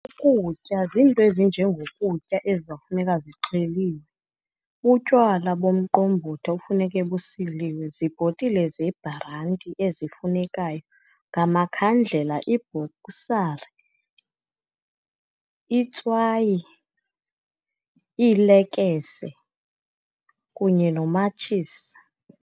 Ukutya ziinto ezinjengokutya ezizawufuneka zixheliwe, butywala bomqombothi ekufuneke busiliwe, zibhotile zebhranti ezifunekayo, ngamakhandlela, ibhoksari, itswayi, iilekese kunye nomatshisi.